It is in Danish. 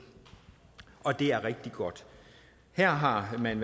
og det er rigtig godt her har man